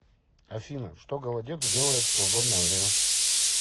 афина что голодец делает в свободное время